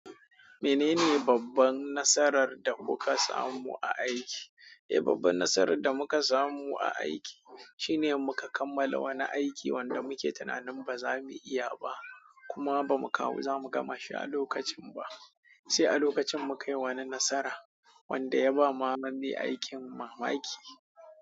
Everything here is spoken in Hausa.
Menene babban nasarar da kuka samu a aiki? Eh, babban nasarar da muka samu a aiki shine muka kammala wani aiki wanda muke tunanin ba za mu iya ba kuma ba mu kawo za mu gama shi a lokacin ba. Sai a lokacin muka yi wani nasara wanda ya ba ma ma mai aikin mamaki.